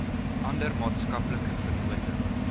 ander maatskaplike vennote